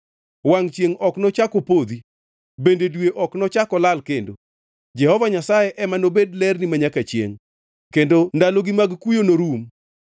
Wangʼ chiengʼ ok nochak opodhi bende dwe ok nochak olal kendo; Jehova Nyasaye ema nobed lerni manyaka chiengʼ kendo ndalogi mag kuyo norum.